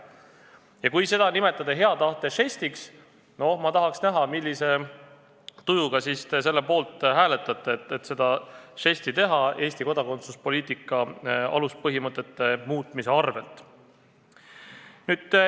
Ja kui seda nimetada hea tahte žestiks, siis ma tahan näha, millise tujuga te selle poolt hääletate, tehes selle žesti Eesti kodakondsuspoliitika aluspõhimõtete muutmise hinnaga.